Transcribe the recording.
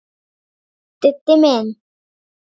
Diddi minn.